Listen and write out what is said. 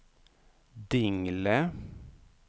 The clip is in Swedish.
Dingle